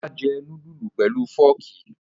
Ọlá jẹ núdúlù pelu fọ́ọ́kì.